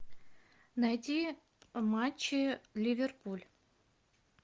найти матчи ливерпуль